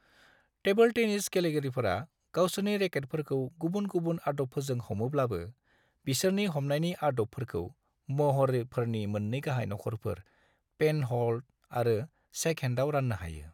Table tennis गेलेगिरिफोरा गावसोरनि रेकेटफोरखौ गुबुन-गुबुन आदबफोरजों हमोब्लाबो, बिसोरनि हमनायनि आदबफोरखौ महरफोरनि मोन्नै गाहाय नखरफोर, पेनह'ल्ड आरो शेकहेण्डआव रान्नो हायो।